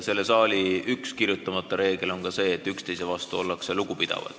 Selle saali üks kirjutamata reegleid on ka see, et üksteise vastu ollakse lugupidavad.